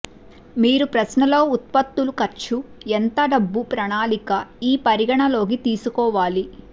మీరు ప్రశ్న లో ఉత్పత్తుల ఖర్చు ఎంత డబ్బు ప్రణాళికా ఈ పరిగణనలోకి తీసుకోవాలి